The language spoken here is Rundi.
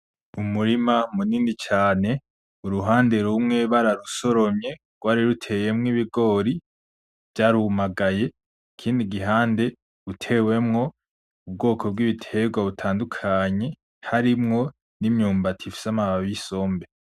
Umurima munini cane, uruhande rumwe bararusoromye rwariruteyemo ibigori, vyarumagaye ikindi gihande utewemwo ubwoko bw'ibiterwa butandukanye harimwo n'imyumbati ifise amababi y'isombe.